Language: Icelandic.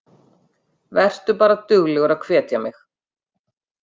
Vertu bara duglegur að hvetja mig.